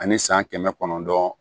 Ani san kɛmɛ kɔnɔntɔn